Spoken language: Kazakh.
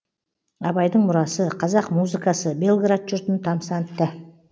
абайдың мұрасы қазақ музыкасы белград жұртын тамсантты